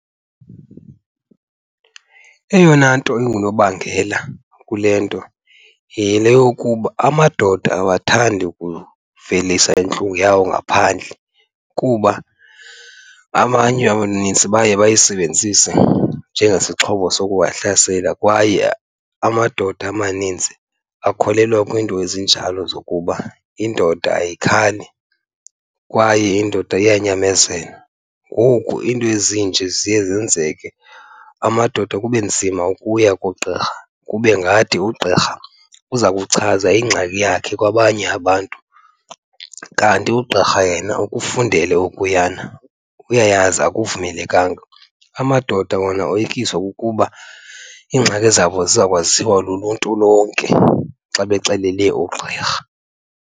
Eyona nto ingunobangela kule nto yile yokuba amadoda awathandi ukuvelisa intlungu yawo ngaphandle kuba abanye abanintsi baye bayisebenzise njengesixhobo sokuwahlasela. Kwaye amadoda amaninzi akholelwa kwiinto ezinjalo zokuba indoda ayikhali kwaye indoda iyanyamezela. Ngoku iinto ezinje ziye zenzeke, amadoda kube nzima ukuya kugqirha kube ngathi ugqirha uza kuchaza ingxaki yakhe kwabanye abantu, kanti ugqirha yena ukufundele okuyana uyayazi akuvumelekanga. Amadoda wona oyikiswa kukuba iingxaki zabo ziza kwaziwa luluntu lonke xa bexelele ugqirha.